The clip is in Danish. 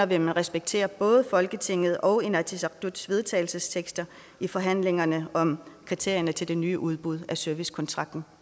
vil man respektere både folketingets og inatsisartuts vedtagelsestekster i forhandlingerne om kriterierne til det nye udbud af servicekontrakten